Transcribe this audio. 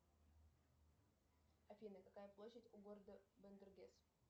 афина какая площадь у города бандергес